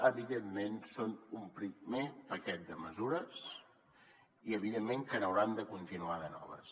evidentment són un primer paquet de mesures i evidentment que n’hauran de continuar de noves